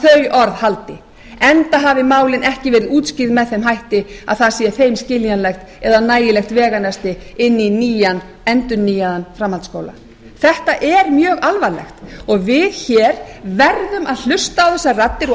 að þau orð haldi enda hafa málin ekki verið útskýrð með þeim hætti að það sé þeim skiljanlegt eða nægilegt veganesti inn í endurnýjaðan framhaldsskóla þetta er mjög alvarlegt og við verðum að hlusta á þessar raddir og ekki